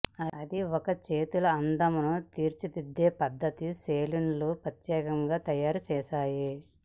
అది ఒక చేతుల అందమును తీర్చిదిద్దే పద్ధతి సెలూన్లు ప్రత్యేకంగా తయారు చేస్తాయి